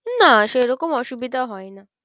না সেরকম অসুবিধা হয় না।